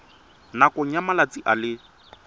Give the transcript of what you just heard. nakong ya malatsi a le